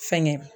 Fɛngɛ